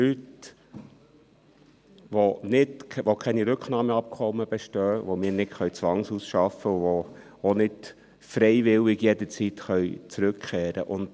Das sind Leute, bei denen keine Rücknahmeabkommen bestehen, die wir nicht zwangsausschaffen können, und die auch nicht freiwillig jederzeit zurückkehren können.